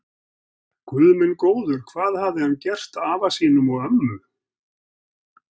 Guð minn góður, hvað hafði hann gert afa sínum og ömmu.